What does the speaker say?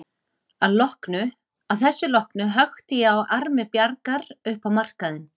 Að þessu loknu hökti ég á armi Bjargar upp á markaðinn.